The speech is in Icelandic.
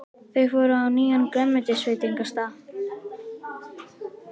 Þau fóru á nýjan grænmetisveitingastað.